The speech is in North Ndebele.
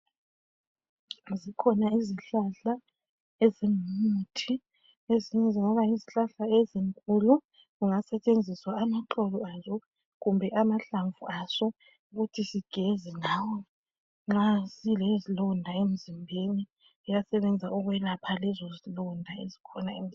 Zikhona izihlahla ezingumuthi. Ezinye zingaba yizihlahla ezinkulu. Kungasetshenziswa amaxolo aso. Kumbe amahlamvu aso. Nxa silezilonda emzimbeni. Ziyasebenza ukwelapha lezo zilonda eziyabe zikhona emzimbeni.